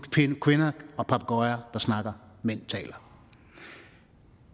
kvinder og papegøjer der snakker mænd taler